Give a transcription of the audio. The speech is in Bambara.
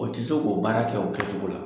O ti se k'o baara kɛ o kɛcogo la.